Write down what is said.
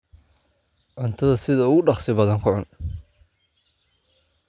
Cuntadha sidha ookudogsi baadaan kucun.